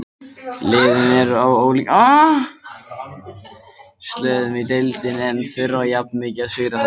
Liðin eru á ólíkum slóðum í deildinni en þurfa jafn mikið á sigri að halda.